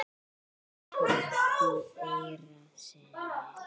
sjálfur í eyra syni?